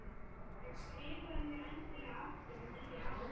En skrifaðu mér endilega aftur á nýju ári.